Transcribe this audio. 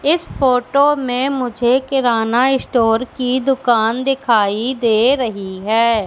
इस फोटो में मुझे किराना स्टोर की दुकान दिखाई दे रही है।